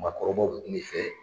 Maakɔrɔbaw bɛ kuma i fɛ